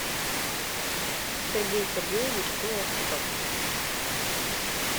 сергей сергеевич лоскутов